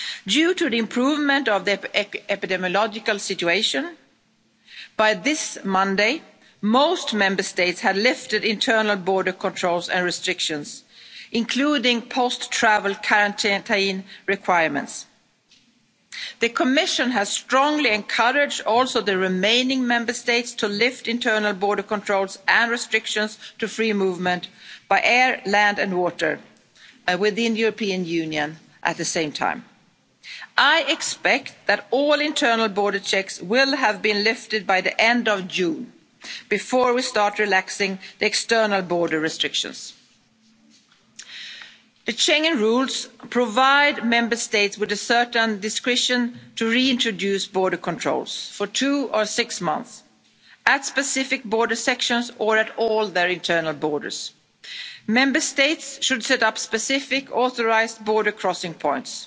Due to the improvement of the epidemiological situation, by this Monday most Member States had lifted internal border controls and restrictions, including post-travel quarantine requirements. The Commission has strongly encouraged the remaining Member States also to lift internal border controls and restrictions to free movement by air, land and water within the European Union at the same time. I expect that all internal border checks will have been lifted by the end of June before we start relaxing the external border restrictions. The Schengen rules provide Member States with a certain discretion to reintroduce border controls for two or six months at specific border sections or at all their internal borders. Member States should set up specific authorised border crossing